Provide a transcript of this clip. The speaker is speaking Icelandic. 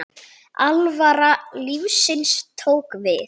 Alvara lífsins tók við.